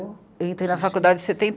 Entrei na faculdade em